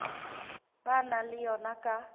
ba nang le yona ka